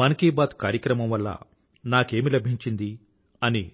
మన్ కీ బాత్ కార్యక్రమం వల్ల నాకేమి లభించింది అని